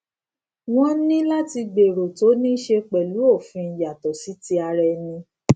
wón ní láti gbèrò tó ní ṣe pẹlú òfin yàtọ sí ti ará ẹni